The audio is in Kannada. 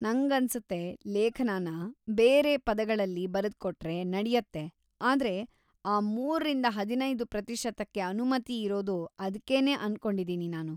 ನಂಗನ್ಸುತ್ತೆ ಲೇಖನನ ಬೇರೆ ಪದಗಳಲ್ಲಿ ಬರೆದ್ಕೊಟ್ರೆ ನಡ್ಯತ್ತೆ ಆದ್ರೆ ಆ ಮೂರಿಂದ ಹದಿನೈದು ಪ್ರತಿಶತಕ್ಕೆ ಅನುಮತಿಯಿರೋದು ಅದ್ಕೇನೇ ಅನ್ಕೊಂಡಿದೀನಿ ನಾನು.